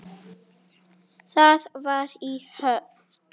Það var í Höfn.